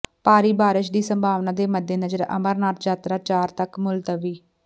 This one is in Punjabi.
ਭਾਰੀ ਬਾਰਿਸ਼ ਦੀ ਸੰਭਾਵਨਾ ਦੇ ਮੱਦੇਨਜ਼ਰ ਅਮਰਨਾਥ ਯਾਤਰਾ ਚਾਰ ਤਕ ਮੁਲਤਵੀ